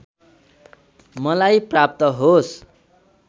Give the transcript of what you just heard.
मलाई प्राप्त होस्